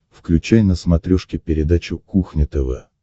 включай на смотрешке передачу кухня тв